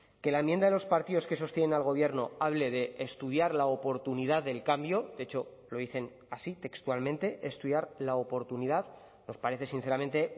que la enmienda de los partidos que sostienen al gobierno hable de estudiar la oportunidad del cambio de hecho lo dicen así textualmente estudiar la oportunidad nos parece sinceramente